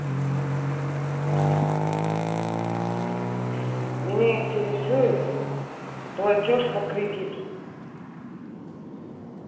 меня интересует платёж по кредиту